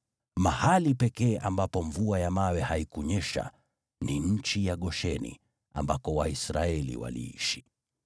Mahali pekee ambapo mvua ya mawe haikunyesha ni nchi ya Gosheni, ambako Waisraeli waliishi.